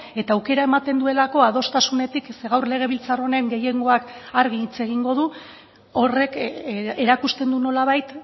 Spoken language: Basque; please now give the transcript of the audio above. eta aukera ematen duelako adostasunetik ze gaur legebiltzar honen gehiengoak argi hitz egingo du horrek erakusten du nolabait